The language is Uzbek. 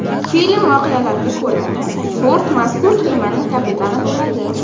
Film voqealariga ko‘ra, Ford mazkur kemaning kapitani bo‘ladi.